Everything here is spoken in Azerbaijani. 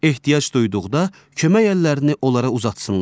Ehtiyac duyduqda kömək əllərini onlara uzatsınlar.